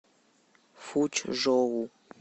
фучжоу